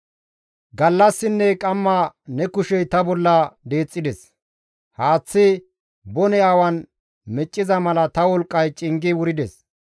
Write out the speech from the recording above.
Gallassinne qamma ne kushey ta bolla deexxides; haaththi bone awan micciza mala ta wolqqay cingi wurides.